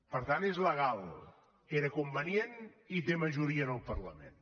per tant és legal era convenient i tenia majoria en el parlament